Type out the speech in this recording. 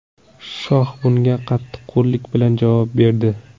Shoh bunga qattiqqo‘llik bilan javob berdi.